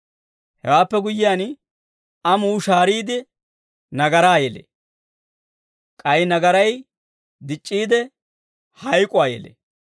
Hewaappe guyyiyaan, amuu shahaariide, nagaraa yelee; k'ay nagaray dic'c'iide, hayk'uwaa yelee.